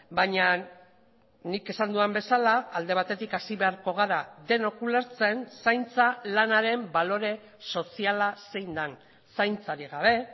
baina nik esan dudan bezala alde batetik hasi beharko gara denok ulertzen zaintza lanaren balore soziala zein den zaintzarik gabe